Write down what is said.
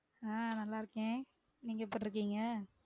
ஆஹ் நல்லா இருக்கேன நீங்க எப்டி இருக்கிங்க?